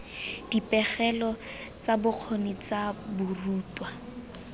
dipegelo tsa bokgoni tsa dirutwa